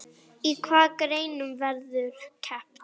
Í hvaða greinum verður keppt?